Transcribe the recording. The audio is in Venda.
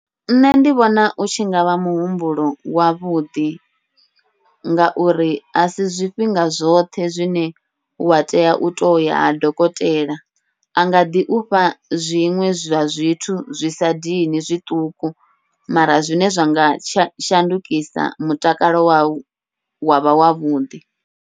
Nṋe ndi vhona u tshi ngavha muhumbulo wavhuḓi, ngauri asi zwifhinga zwoṱhe zwine wa tea u toya ha dokotela a ngaḓi ufha zwiṅwe zwa zwithu zwi sa dini zwiṱuku, mara zwine zwanga sha shandukisa mutakalo wau wavha wavhuḓi.